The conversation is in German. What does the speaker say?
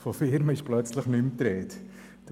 Von Firmen ist dort plötzlich nicht mehr die Rede.